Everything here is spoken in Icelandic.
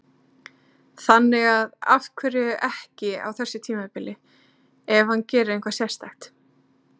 Þannig að af hverju ekki á þessu tímabili, ef hann gerir eitthvað sérstakt?